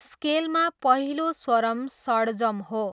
स्केलमा पहिलो स्वरम षडजम हो।